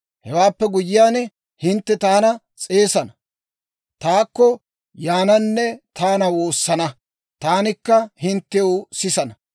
Hewaappe guyyiyaan, hintte taana s'eesana; taakko yaananne taana woosana; taanikka hinttew sisana.